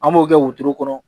An b'o kɛ wotoro kɔnɔ